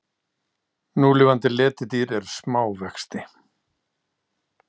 Núlifandi letidýr eru smá vexti.